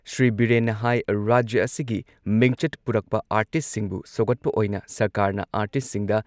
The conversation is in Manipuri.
ꯁ꯭ꯔꯤ ꯕꯤꯔꯦꯟꯅ ꯍꯥꯏ ꯔꯥꯖ꯭ꯌ ꯑꯁꯤꯒꯤ ꯃꯤꯡꯆꯠ ꯄꯨꯔꯛꯄ ꯑꯥꯔꯇꯤꯁꯠꯁꯤꯡꯕꯨ ꯁꯧꯒꯠꯄ ꯑꯣꯏꯅ ꯁꯔꯀꯥꯔꯅ ꯑꯥꯔꯇꯤꯁꯠꯁꯤꯡꯗ